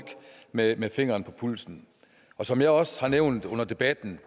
med med fingeren på pulsen som jeg også nævnte under debatten